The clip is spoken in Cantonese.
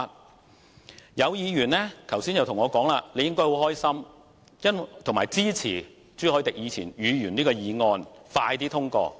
剛才也有議員跟我說我應感到很高興，並支持朱凱廸議員的議案快些獲通過。